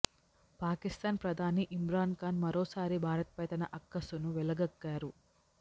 పాకిస్థాన్ ప్రధాని ఇమ్రాన్ ఖాన్ మరోసారి భారత్ పై తన అక్కసును వెళ్లగక్కారు